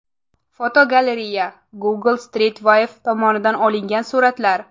Fotogalereya: Google Street View tomonidan olingan suratlar.